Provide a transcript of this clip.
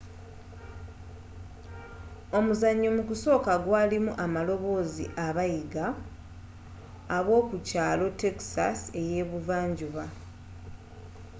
omuzanyo mukusooka gwaalimu abaamaloboozi abayiga abookukyaalo texas eyeebuvanjuba